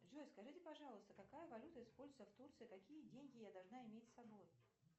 джой скажите пожалуйста какая валюта используется в турции какие деньги я должна иметь с собой